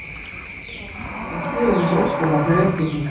Steingrímur var ráðinn til að stýra þessu óskabarni Reykvíkinga.